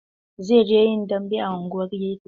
Zai je yin dambe a unguwar ghetto.